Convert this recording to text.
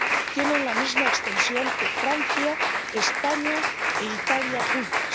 tienen la misma extensión que Francia, España e Italia juntas.